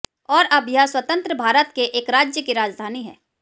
और अब यह स्वतंत्र भारत के एक राज्य की राजधानी है